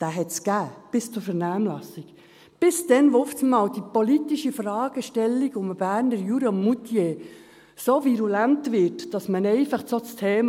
Den gab es bis zur Vernehmlassung – bis dann, als auf einmal die politische Fragestellung um den Berner Jura und Moutier so virulent wurde, dass man einfach so das Thema …